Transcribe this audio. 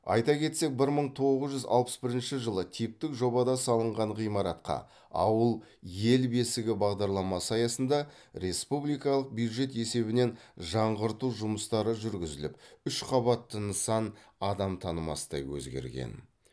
айта кетсек бір мың тоғыз жүз алпыс бірінші жылы типтік жобада салынған ғимаратқа ауыл ел бесігі бағдарламасы аясында республикалық бюджет есебінен жаңғырту жұмыстары жүргізіліп үш қабатты нысан адам танымастай өзгерген